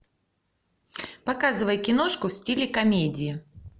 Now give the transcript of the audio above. показывай киношку в стиле комедии